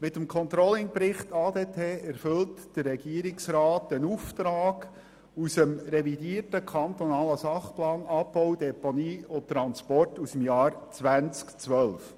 Mit dem ControllingBericht ADT erfüllt der Regierungsrat einen Auftrag aus dem revidierten kantonalen Sachplan Abbau, Deponie, Transporte aus dem Jahr 2012.